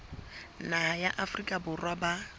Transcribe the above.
naha ya afrika borwa ba